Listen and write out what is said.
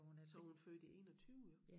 Så er hun født i 21 jo